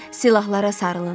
Silahlara sarılın.